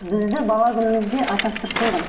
бізді бала күнімізде атастырып қойған